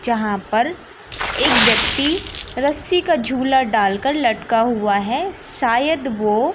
जहां पर एक व्यक्ति रस्सी का झूला डालकर लटका हुआ है शायद वो--